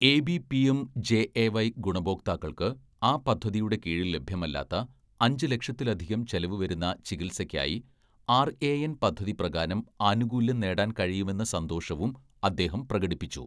"AB PM JAY ഗുണഭോക്താക്കള്‍ക്ക്, ആ പദ്ധതിയുടെ കീഴില്‍ ലഭ്യമല്ലാത്ത, അഞ്ച് ലക്ഷത്തിലധികം ചെലവുവരുന്ന ചികിത്സയ്ക്കായി ആര്‍എഎന്‍ പദ്ധതി പ്രകാരം ആനുകൂല്യം നേടാന്‍ കഴിയുമെന്ന സന്തോഷവും അദ്ദേഹം പ്രകടിപ്പിച്ചു. "